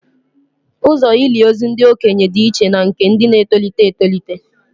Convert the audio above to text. Ụzọ ili ozu ndị okenye dị iche na nke ndị na-etolite etolite